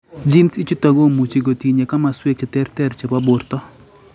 Genes ichutok komuchi kotinye komaswek cheterter chebo borto